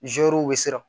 bɛ siran